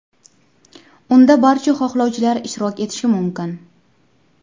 Unda barcha xohlovchilar ishtirok etishi mumkin.